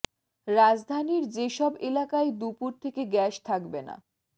রাজধানীর যে সব এলাকায় দুপুর থেকে গ্যাস থাকবে না